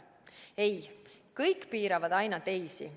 Ei, kõik piiravad aina teisi.